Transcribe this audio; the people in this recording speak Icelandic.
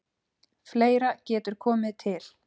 Fleira getur komið til.